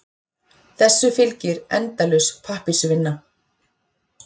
Þessu fylgir endalaus pappírsvinna.